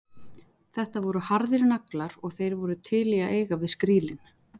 Þetta voru harðir naglar og þeir voru til í að eiga við skrílinn.